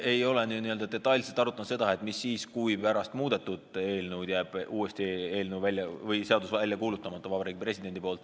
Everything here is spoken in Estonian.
Me ei ole n-ö detailselt arutanud seda, mis siis saab, kui pärast muutmist jääb seadus Vabariigi Presidendil uuesti välja kuulutamata.